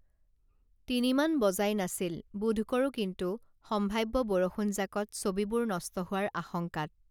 তিনিমান বজাই নাছিল বোধকৰো কিন্তু সম্ভাব্য বৰষুণজাকত ছবিবোৰ নষ্ট হোৱাৰ আশংকাত